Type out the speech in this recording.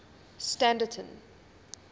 standerton